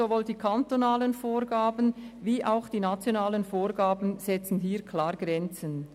Sowohl die kantonalen als auch die nationalen Vorgaben setzen hier klare Grenzen.